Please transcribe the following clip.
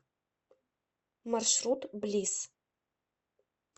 маршрут блисс